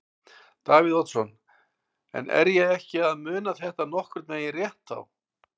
Davíð Oddsson: En er ég ekki að muna þetta nokkurn veginn rétt þá?